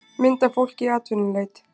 mynd af fólki í atvinnuleit